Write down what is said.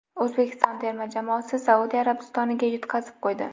O‘zbekiston terma jamoasi Saudiya Arabistoniga yutqazib qo‘ydi .